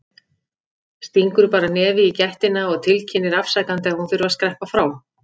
Stingur bara nefi í gættina og tilkynnir afsakandi að hún þurfi að skreppa frá.